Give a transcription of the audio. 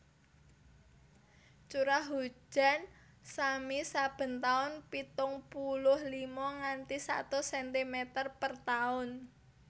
Curah hujan sami saben tahun pitung puluh lima nganti satus sentimeter per tahun